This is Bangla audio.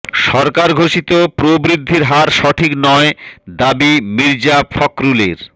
সরকার ঘোষিত প্রবৃদ্ধির হার সঠিক নয় দাবি মির্জা ফখরুলের